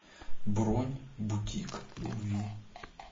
бронь бутик любви